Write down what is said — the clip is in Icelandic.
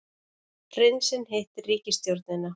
Prinsinn hittir ríkisstjórnina